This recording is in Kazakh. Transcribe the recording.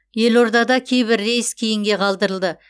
елордада кейбір рейс кейінге қалдырылды